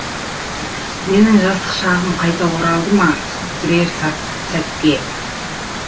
менің жастық шағым қайта оралды ма бірер сәтке